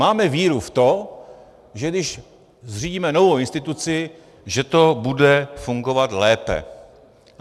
Máme víru v to, že když zřídíme novou instituci, že to bude fungovat lépe.